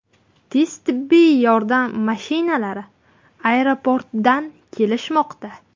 Tez tibbiy yordam mashinalari aeroportdan kelishmoqda.